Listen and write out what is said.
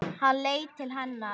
Hann leit til hennar.